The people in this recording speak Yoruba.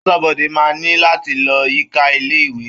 Aṣọ́bodè máa ní láti lọ yíká ilé-ìwé.